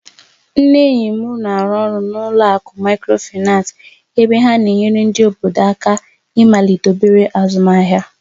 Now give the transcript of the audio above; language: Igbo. Nne enyi m na-arụ ọrụ n'ụlọ akụ Micròfaị́nace, ebe ha na-enyere ndị obodo anyị aka ịmalite obere azụmahịa.